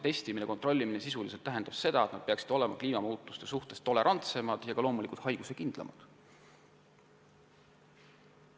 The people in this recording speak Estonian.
Testimine-kontrollime peab sisuliselt tagama seda, et järglased oleksid kliimamuutuste suhtes tolerantsemad ja loomulikult ka haiguskindlamad.